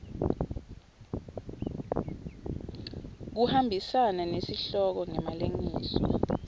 kuhambisana nesihloko ngemalengiso